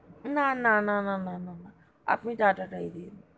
না না না না না না আপনি tata তাই দিন,